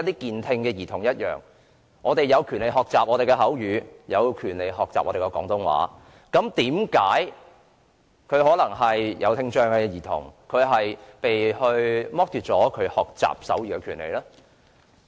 健聽兒童有權學習口語和廣東話，為何聽障兒童要被剝奪學習手語的權利呢？